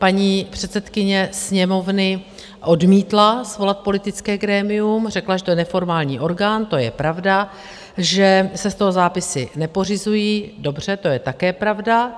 Paní předsedkyně Sněmovny odmítla svolat politické grémium, řekla, že to je neformální orgán, to je pravda, že se z toho zápisy nepořizují, dobře, to je také pravda.